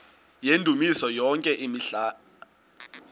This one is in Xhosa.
yendumiso yonke imihla